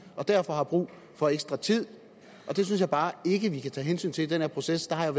og derfor har brug for ekstra tid og det synes jeg bare ikke at vi kan tage hensyn til i den her proces der har